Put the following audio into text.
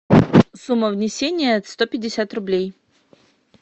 сумма внесения сто пятьдесят рублей